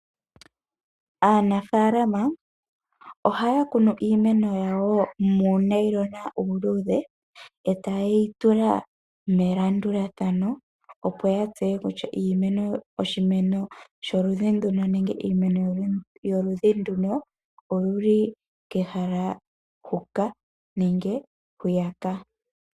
Aanafaalama oha ya kunu iimeno yawo, muunailonga uuluudhe, eta ye yi tula melandulathano opo ya tseye kutya iimeno yoludhi nduno oyili kehala huka nenge hwiyaka.